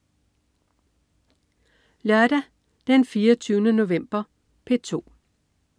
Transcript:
Lørdag den 24. november - P2: